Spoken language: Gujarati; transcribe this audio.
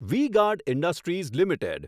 V Guard Industries limited